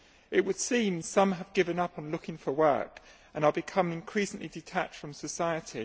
It would seem that some have given up on looking for work and are becoming increasingly detached from society.